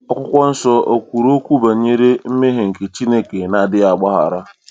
Akwụkwọ Nsọ o kwuru okwu banyere mmehie nke Chineke n'adịghị agbaghara?